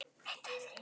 Nafn hans er Vetur.